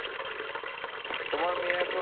তোমার মেয়ে এখন